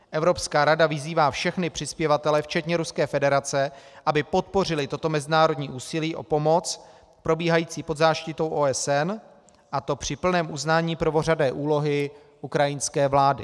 Evropská rada vyzývá všechny přispěvatele, včetně Ruské federace, aby podpořili toto mezinárodní úsilí o pomoc probíhající pod záštitou OSN, a to při plném uznání prvořadé úlohy ukrajinské vlády.